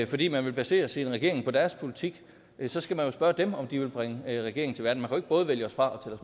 fordi man vil basere sin regering på deres politik så skal man jo spørge dem om de vil bringe den regering til verden man både vælge os fra